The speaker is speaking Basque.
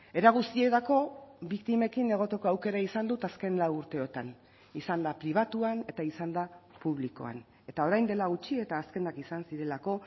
era guztietako biktimekin egoteko aukera izan dut azken lau urteotan izanda pribatuan eta izanda publikoan eta orain dela gutxi eta azkenak izan zirelako